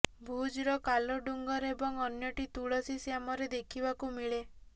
ଭୁଜ୍ର କାଲୋ ଡୁଙ୍ଗର ଏବଂ ଅନ୍ୟଟି ତୁଲସୀ ଶ୍ୟାମରେ ଦେଖିବାକୁ ମିଳେ